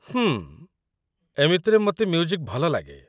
ହୁଁ, ଏମିତିରେ ମୋତେ ମ୍ୟୁଜିକ୍ ଭଲ ଲାଗେ ।